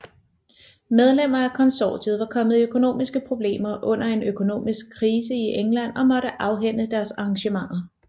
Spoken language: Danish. Medlemmer af konsortiet var kommet i økonomiske problemer under en økonomiske krise i England og måtte afhænde deres arrangementer